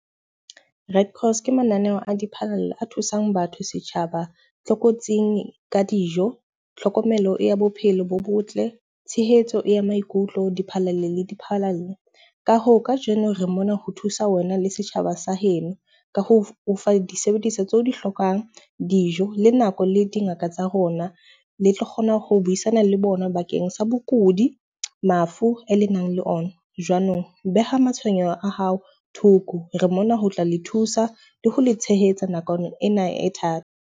Ke mananeho a a thusang batho, setjhaba tlokotsing ka dijo, tlhokomelo ya bophelo bo botle, tshehetso ya maikutlo, . Ka hoo kajeno re mona ho thusa wena le setjhaba sa heno ka ho o fa disebediswa tseo di hlokang dijo le nako le dingaka tsa rona. Le tlo kgona ho buisana le bona bakeng sa bokudi, mafu e lenang le ona. Jwanong beha matshwenyeho a hao thoko. Re mona ho tla le thusa le ho le tshehetsa nakong ena e thata.